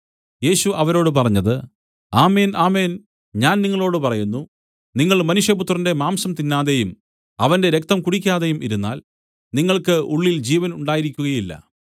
യേശു അവരോട് പറഞ്ഞത് ആമേൻ ആമേൻ ഞാൻ നിങ്ങളോടു പറയുന്നു നിങ്ങൾ മനുഷ്യപുത്രന്റെ മാംസം തിന്നാതെയും അവന്റെ രക്തം കുടിക്കാതെയും ഇരുന്നാൽ നിങ്ങൾക്ക് ഉള്ളിൽ ജീവൻ ഉണ്ടായിരിക്കുകയില്ല